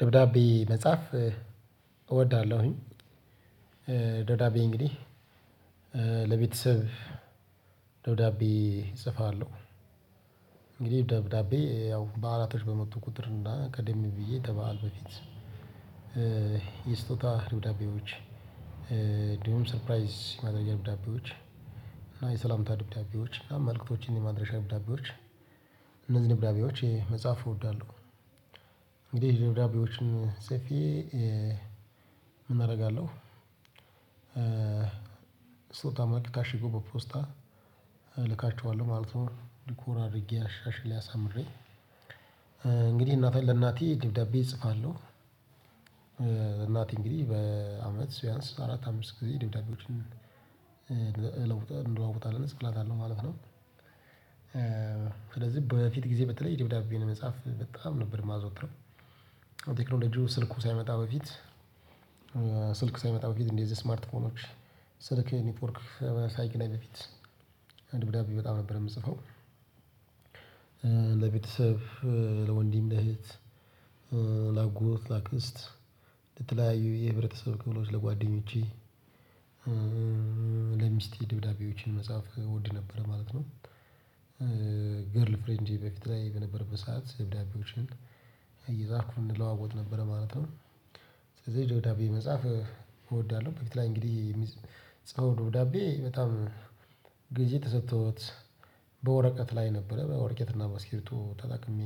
ደብዳቤ መጻፍ እወዳለሁኝ። ደብዳቤ እንግዲህ ለቤተሰብ ደብዳቤ እጽፋለሁ። እንግዲህ ደብዳቤ ያው በዓላቶች በመጡ ቁጥር እና ቀደም ብዬ ከበዓል በፊት ደብዳቤዎች እንዲሁም ሰርፕራይዝ የማድረግ ደብዳቤዎች እና የሰላምታ ደብዳቤዎች እና መልእክቶችን የማድረሻ ደብዳቤዎች እነዚህ ደብዳቤዎች የ መጻፍ እወዳለሁ። እንግዲህ ደብዳቤዎችን ጽፌ ምን አደርጋለሁ ስጦታ መልክ ታሽጎ በፖስታ እልካቸዋለሁ ማለት ነው። ዲኮር አድርጌ አሻሽሌ አሳምሬ እንግዲህ እናቴን ለእናቴ ደብዳቤ እጽፋለሁ። እናቴ እንግዲህ በአመት ቢያንስ አራት አምስት ጊዜ ደብዳቤዎችን እንለዋወጣለን እጽፍላታለሁ ማለት ነው ስለዚህ በፊት ጊዜ በተለይ ደብዳቤን የመጻፍ በጣም ነበር የማዘወትረው። ቴክኖሎጂው ስልኩ ሳይመጣ በፊት ስልክ ሳይመጣ በፊት እንደዚህ ስማርት ፎኖች ስልክ የኔትወርክ ሳይገናኝ በፊት ደብዳቤ በጣም ነበር የምጽፈው። ለቤተሰብ፣ ለወንድም፣ ለእህት፣ ለአጎት፣ ለአክስት፣ ለተለያዩ የህብረተሰብ ክፍሎች፣ ለጓደኞቼ፣ ለሚስቴ ደብዳቤዎችን መጻፍ እወድ ነበረ ማለት ነው። ገርልፍሬንዴ በፊት ላይ በነበረበት ሰዓት ደብዳቤዎችን እየጻፍኩ እንለዋወጥ ነበረ ማለት ነው። ስለዚህ የደብዳቤ መጻፍ እወዳለሁ በፊት ላይ እንግዲህ ጽፈው ደብዳቤ በጣም ግዜ ተሰጥቶት በወረቀት ላይ ነበረ በወረቀት እና በእስኪርቦቶ ተጠቅሜ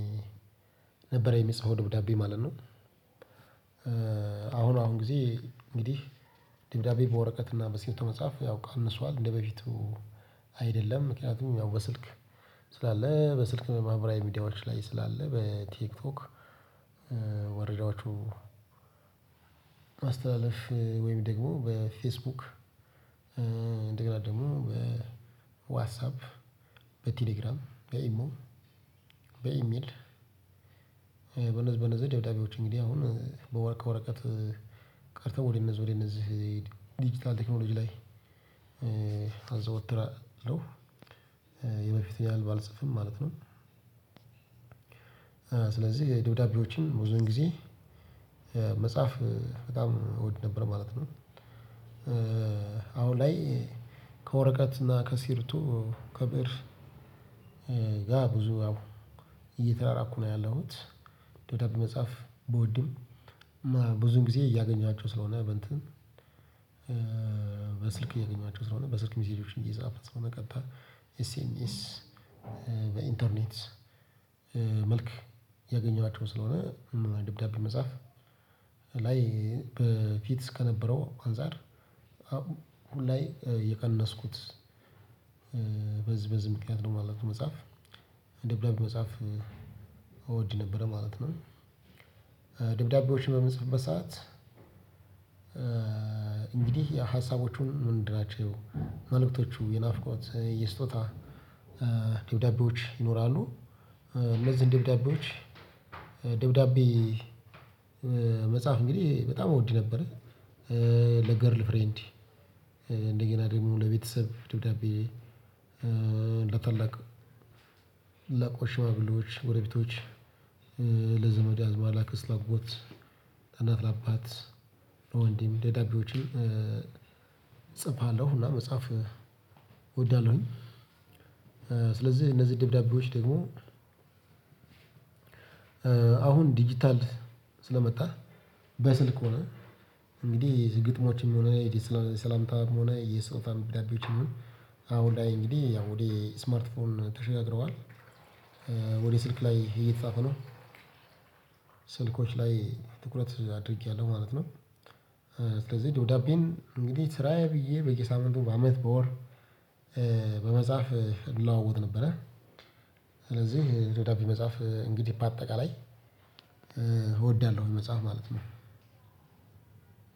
ነበረ የምጽፈው ደብዳቢ ማለት ነው። አሁን አሁን ጊዜ እንግዲህ ደብዳቤ በወረቀት እና በስኪርቢቶ መጻፍ ያው ቀንሷል እንደበፊቱ አይደለም። ምክንያቱም ያው በስልክ ስላለ በስልክ ማህበራዊ ሚዲያዎች ላይ ስላለ በቲክቶክ፣ መረጃዎቹ ማስተላልፍ ወይም ደግሞ በፌስቡክ እንደገና ደግሞ በዋትሳፕ በቴሌግራም፣ በኢሞ፣ በኢሜል በነዚህ በነዚህ ደብዳቤዎች እንግዲህ አሁን በወረ ከወረቀት ቀርተው ወደ እነዚህ ወደ እነዚህ ዲጂታል ቴክኖሎጂ ላይ አዘወትራለሁ። የበፊቱን ያህል ባልጽፍም ማለት ነው። ስለዚህ ደብዳቤዎችን ቡዙውን ጊዜ መጻፍ በጣም እወድ ነበር ማለት ነው። አሁን ላይ ከወረቀትና ከስኪርቢቶ ከብእር ጋር ብዙ እየተራራቅኩ ነው ያለሁት። ደብዳቤ መጻፍ ብወድም እና ብዙውን ጊዜ እያገኘኋቸው ስለሆነ በእንትን በስልክ እያገኘኋቸው ስለሆነ በስልክ ሚሴጆችን እየጻፍኩ ስለሆነ ቀጥታ ኤስኤምኤስ በኢንተርኔት መልክ እያገኘኋቸው ስለሆነ ደብዳቤ መጻፍ ላይ በፊት ከነበረው አንፃር አሁን ላይ የቀነስኩት በዚህ በዚህ ምክንያት ነው ማለት ነው መጻፍ ደብዳቤ መጻፍ እወድ ነበረ ማለት ነው። ደብዳቤዎችን በምጽፍበት ሰዓት እንግዲህ ያው ሀሳቦቹን ምንድን ናቸው መልእክቶቹ የናፍቆት የስጦታ ደብዳቤዎች ይኖራሉ። እነዚህን ደብዳቤዎች ደብዳቤ መጻፍ እንግዲህ በጣም እወድ ነበረ። ለገርልፍሬንድ እንደገና ደግሞ ለቤተሰብ ደብዳቤ ለታላቅ ለቆ ሽማግሌዎች ጎረቤቶች ለዘመድ አዝማድ ለአክስት ለአጎት ለእናት ለአባት ለወንድም ደብዳቤዎችን እጽፋለሁ፣ እና መጻፍ እወዳለሁኝ። ስለዚህ እነዚህ ደብዳቤዎች ደግሞ አሁን ዲጂታል ስለመጣህ በስልክ ሆነ። እንግዲህ ግጥሞችም ሆነ ሰላምታም ሆነ የስጦታ ደብዳቤዎችም ይሁን አሁን ላይ እንግዲህ ያው ወደ ስማርት ፎን ተሸጋግረዋል። ወደ ስልክ ላይ እየተጻፈ ነው። ስልኮች ላይ ትኩረት አድርጌያለሁ ማለት ነው። ስለዚህ ደብዳቤን እንግዲህ ስራዬ ብዬ በየሳምንቱ በአመት በወር በመጻፍ እለዋወጥ ነበረ። ስለዚህ ደብዳቤ መጻፍ እንግዲህ በአጠቃላይ እወዳለሁኝ መጻፍ ማለት ነው።